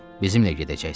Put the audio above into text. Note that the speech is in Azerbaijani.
Bizimlə gedəcəksiz?